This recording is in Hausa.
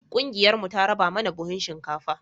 ƙungiyar mu ta raba mana buhun shinkafa